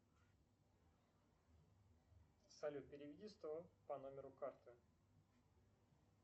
салют переведи сто по номеру карты